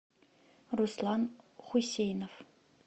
руслан хусейнов